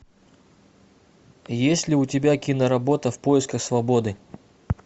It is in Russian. есть ли у тебя киноработа в поисках свободы